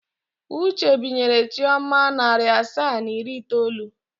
Uche binyere Chioma narị asaa na iri itoolu.